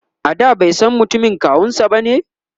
a da baisan mutumin kawunsa bane?